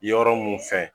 Yɔrɔ mun fɛ